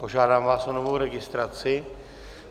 Požádám vás o novou registraci.